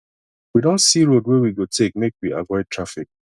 we don see road wey we go take make we avoid traffic